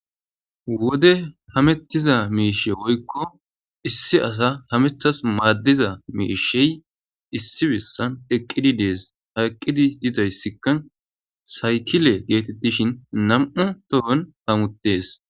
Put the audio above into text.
Wode hamettiza miishe woykko issi asa hamethas maaddiza miishey issi bessan eqqidi dees. Ha eqqidi dizaysikka saykile geetettishin nam7u tohon hamuttees.